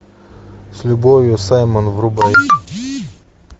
с любовью саймон врубай